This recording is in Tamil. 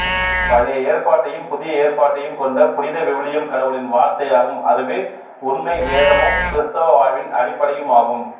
பழைய ஏற்பாட்டையும் புதிய ஏற்பாட்டையும் கொண்ட புனித விவிலியம் கடவுளின் வார்த்தையாகும் அதுவே உண்மை வேதமும் கிறிஸ்தவ வாழ்வின் அடிப்படையுமாகும்